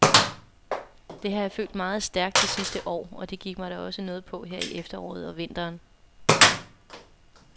Det har jeg følt meget stærkt det sidste år, og det gik mig da noget på her i efteråret og vinteren.